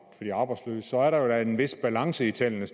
de arbejdsløse så er der jo da en vis balance i tallene